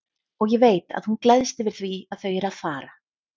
Og ég veit að hún gleðst yfir því að þau eru að fara.